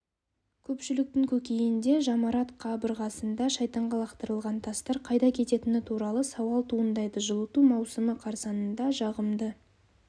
көпшіліктің көкейінде жамарат қабырғасында шайтанға лақтырылған тастар қайда кететіні туралы сауал туындайды жылыту маусымы қарсаңында жағымды